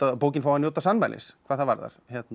bókin fái að njóta sannmælis hvað það varðar